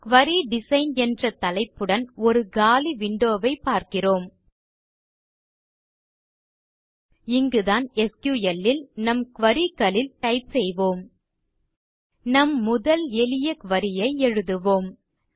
குரி design என்ற தலைப்புடன் ஒரு காலி விண்டோ ஐ பார்க்கிறோம் இங்குதான் எஸ்கியூஎல் ல் நம் குரி க்களில் டைப் செய்வோம் நம் முதல் எளிய குரி ஐ எழுதுவோம்